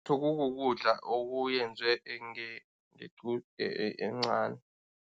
Kukukudla okuyenzwe encani.